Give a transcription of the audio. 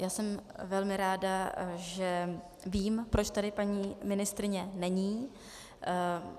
Já jsem velmi ráda, že vím, proč tady paní ministryně není.